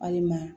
Walima